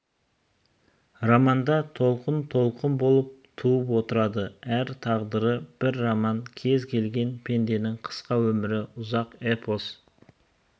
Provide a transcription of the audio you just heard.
романда толқынтолқын болып туып отырады әр тағдыр бір роман кез келген пенденің қысқа өмірі ұзақ эпос